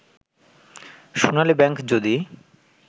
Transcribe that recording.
সোনালী bank যদি